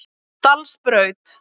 Dalsbraut